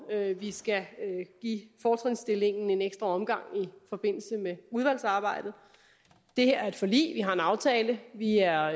vi skal give fortrinsstillingen en ekstra omgang i forbindelse med udvalgsarbejdet det her er et forlig vi har en aftale vi er